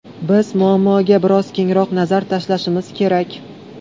Biz muammoga bir oz kengroq nazar tashlashimiz kerak.